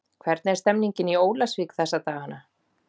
Hvernig er stemningin í Ólafsvík þessa dagana?